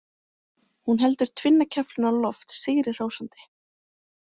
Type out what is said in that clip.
Hún heldur tvinnakeflinu á loft sigri hrósandi.